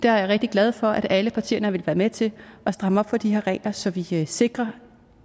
er rigtig glad for at alle partierne vil være med til at stramme op for de her regler så vi forhåbentlig kan sikre